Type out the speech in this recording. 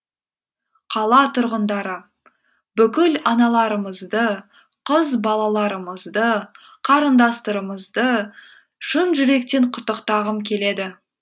қала тұрғындары бүкіл аналарымызды қыз балаларымызды қарындастарымызды шын жүректен құттықтағым келеді